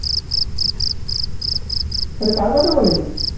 তাহলে কার কথা বলে ছিলি?